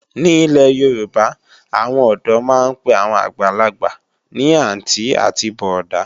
Ní ilé Yorùbá, àwọn ọ̀dọ́ máa ń pe àwọn àgbàgbà ní àntí àti bọ̀ọ̀dá“